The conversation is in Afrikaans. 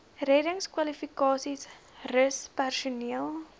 reddingskwalifikasies rus personeel